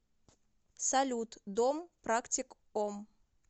салют дом практик ом